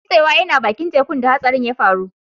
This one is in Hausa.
Mai nutsewan yana baki'n tekun da hatsarin ya faru.